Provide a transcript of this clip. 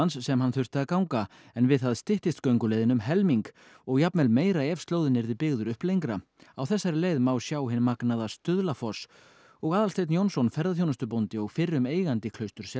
sem hann þurfti að ganga en við það styttist gönguleiðin um helming og jafnvel meira ef slóðinn yrði byggður upp lengra á þessari leið má sjá hinn magnaða Stuðlafoss og Aðalsteinn Jónsson ferðaþjónustubóndi og fyrrum eigandi